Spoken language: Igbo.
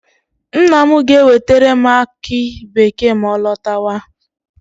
Nna m ga-ewetere m aki bekee ma ọ lọtawa.